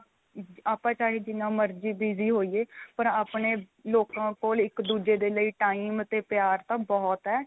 ਆਪਾਂ ਚਾਹੇ ਜਿੰਨਾਂ ਮਰਜੀ busy ਹੋਈਏ ਪਰ ਆਪਣੇ ਲੋਕਾਂ ਕੋਲ ਇੱਕ ਦੂਜੇ ਦੇ ਲਈ time ਤੇ ਪਿਆਰ ਤਾਂ ਬਹੁਤ ਏ